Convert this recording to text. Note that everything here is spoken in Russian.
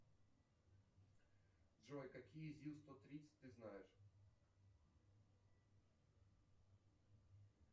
джой какие зил сто тридцать ты знаешь